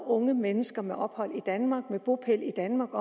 unge mennesker med ophold i danmark og med bopæl i danmark